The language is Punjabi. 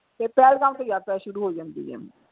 ਫਿਰ ਪਹਿਲਮਗਾਮ ਤੋਂ ਯਾਤਰਾ ਸ਼ੁਰੂ ਹੋ ਜਾਂਦੀ ਆ।